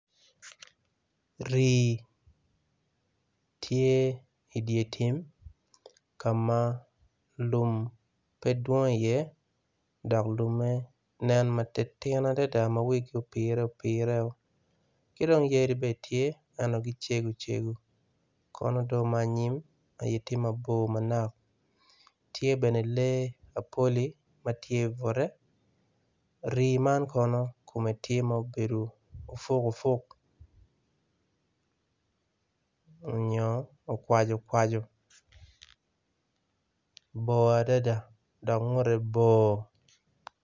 Rii tye i dye tim kama lum pe dwong i ye dok lumme nen matitino adada ma wigi opire apira kidong yadi bene tye ento gicego cego kono do manyim magitye mabor manok tye bene lee mapoli matye labute rii man kono tye ma obedo opuk opuk onyo okwaco kwaco bor adada do ngute bor.